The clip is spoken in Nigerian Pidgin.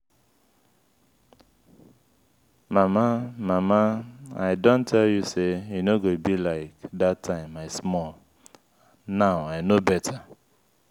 mama mama i don tell you say e no go be like dat time i small now i no beta.